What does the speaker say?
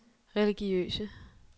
religiøse